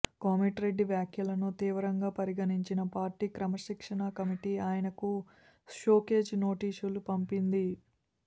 కోమటిరెడ్డి వ్యాఖ్యలను తీవ్రంగా పరిగణించిన పార్టీ క్రమశిక్షణ కమిటీ ఆయనకు షోకాజ్ నోటీసులు పంపింది